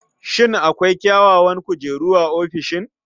Shin akwai kyawawan kujeru a ofishin?